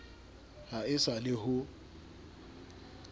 ha e sa le ho